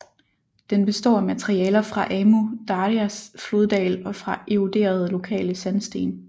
Den består af materialer fra Amu Darjas floddal og fra eroderede lokale sandsten